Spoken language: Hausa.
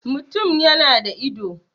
mutum ya da ido